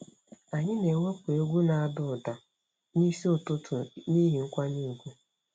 Anyị na-ewepụ egwu na-ada ụda n'isi ụtụtụ n'ihi nkwanye ùgwù.